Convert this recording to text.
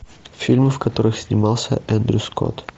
фильмы в которых снимался эндрю скотт